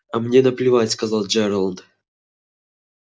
а мне наплевать сказал джералд